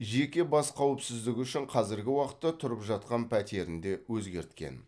жеке бас қауіпсіздігі үшін қазіргі уақытта тұрып жатқан пәтерін де өзгерткен